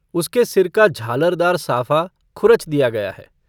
उसके सिर का झालरदार साफा खुरच दिया गया है।